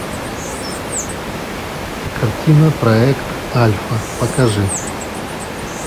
картина проект альфа покажи